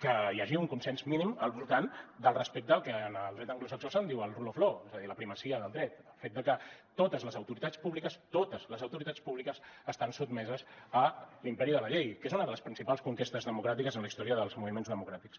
que hi hagi un consens mínim al voltant del respecte al que en el dret anglosaxó se’n diu el rule of lawa dir la primacia del dret el fet de que totes les autoritats públiques totes les autoritats públiques estan sotmeses a l’imperi de la llei que és una de les principals conquestes democràtiques en la història dels moviments democràtics